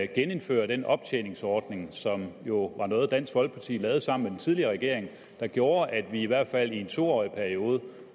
genindføre den optjeningsordning som jo var noget dansk folkeparti lavede sammen med den tidligere regering den gjorde at vi i hvert fald i en to årig periode